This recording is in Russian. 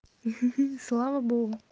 ха-ха слава богу